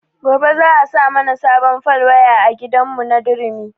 Gobe za a sa mana sabon fal waya a gidan mu na durumi